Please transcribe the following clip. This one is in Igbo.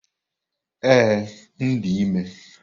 Ee, m dị ime.